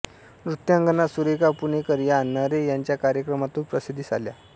नृत्यांगना सुरेखा पुणेकर या नरे यांच्या कार्यक्रमांतून प्रसिद्धीस आल्या